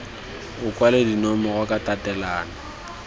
o kwale dinomoro ka tatelano